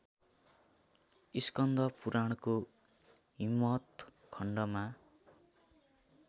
स्कन्दपुराणको हिमवत् खण्डमा